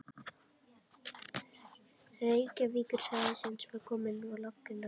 Reykjavíkursvæðisins var komið á laggirnar á